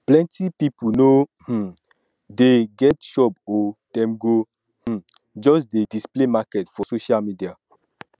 plenty pipu no um dey um get shop o dem go um just dey display market for social media